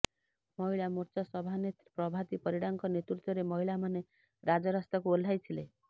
ମହିଳା ମୋର୍ଚ୍ଚା ସଭାନେତ୍ରୀ ପ୍ରଭାତି ପରିଡ଼ାଙ୍କ ନେତୃତ୍ବରେ ମହିଳାମାନେ ରାଜରାସ୍ତାକୁ ଓହ୍ଲାଇଥିଲେ